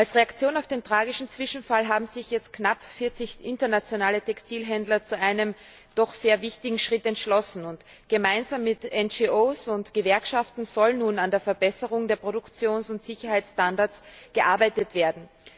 Als Reaktion auf den tragischen Zwischenfall haben sich jetzt knapp 40 internationale Textilhändler zu einem doch sehr wichtigen Schritt entschlossen Gemeinsam mit NGOs und Gewerkschaften soll nun an der Verbesserung der Produktions und Sicherheitsstandards gearbeitet werden.